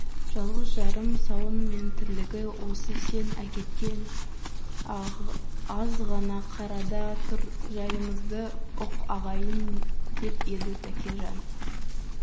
жалғыз-жарым сауын мен тірлігі осы сен әкеткен азғана қарада тұр жайымызды ұқ ағайын деп еді тәкежан